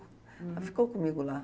Uhum. Ela ficou comigo lá.